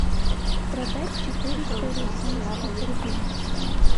продать четыреста российских рубля